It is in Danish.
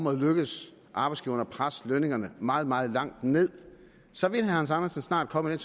er lykkedes arbejdsgiverne at presse lønningerne meget meget langt ned så vil herre hans andersen snart komme i